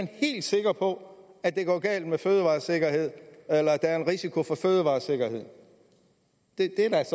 helt sikker på at det går galt med fødevaresikkerheden eller at der er en risiko for fødevaresikkerheden